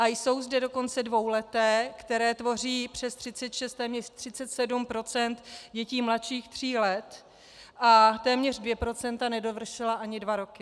A jsou zde dokonce dvouleté, které tvoří přes 36, téměř 37 % dětí mladších tří let, a téměř 2 % nedovršila ani dva roky.